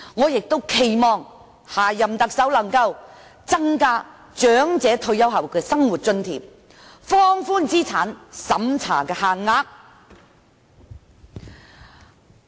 所以，我期望下一任特首能夠增加長者退休後的生活津貼，放寬資產審查限額。